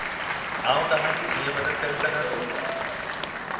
आउं तव्हां जी कीअं मदद करे सघां थो?